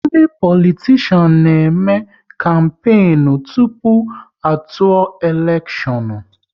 Ndị politishan na eme kampenu tụpụ a tụọ elekshon